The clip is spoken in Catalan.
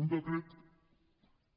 un decret